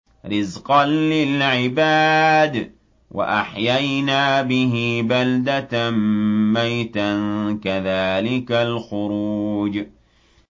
رِّزْقًا لِّلْعِبَادِ ۖ وَأَحْيَيْنَا بِهِ بَلْدَةً مَّيْتًا ۚ كَذَٰلِكَ الْخُرُوجُ